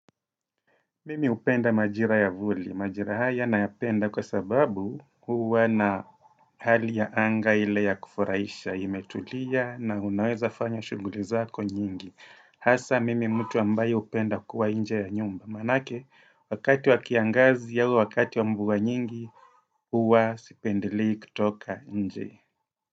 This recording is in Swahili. Mimi hupenda majira ya vuli, majira haya nayapenda kwa sababu huwa na hali ya anga ile ya kufuraisha, imetulia na unaweza fanya shuguli zako nyingi. Hasa mimi mtu ambayo hupenda kukua nje ya nyumba, maanake wakati wa kiangazi auwakati wa mvua nyingi huwa sipendelei kutoka nje.